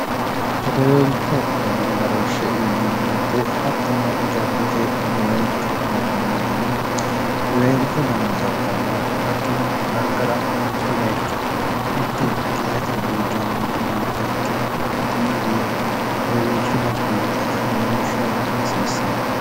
hedeweelcho dano agarooshshe yineemmoote hattono jaddote hedeweelcho dagganno dano hedeweelcho dano dagganno hattono gargara mitto bayicho mitte giirate buujjama iillitoheekkiro hattenni giira hedeweelcho dagginota agarooshshe agara hasiissamo